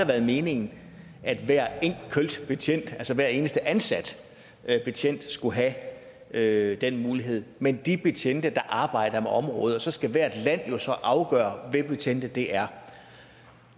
været meningen at hver enkelt betjent altså hver eneste ansat betjent skulle have have den mulighed men de betjente der arbejder med området og så skal hvert land jo så afgøre hvilke betjente det er